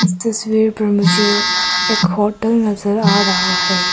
इस तस्वीर पर मुझे एक होटल नजर आ रहा है।